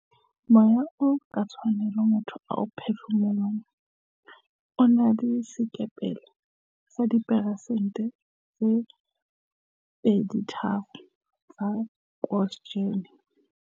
"Moya oo ka tlwaelo motho a o phefumolohang o na le sekepele sa dipheresente tse 23 tsa oksijene."